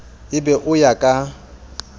e be o ya ka